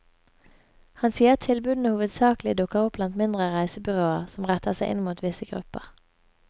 Han sier tilbudene hovedsaklig dukker opp blant mindre reisebyråer som retter seg inn mot visse grupper.